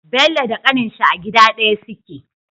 Bello da kanin shi a gida daya suke